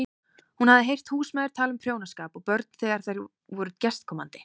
Hún hafði heyrt húsmæður tala um prjónaskap og börn þegar þær voru gestkomandi.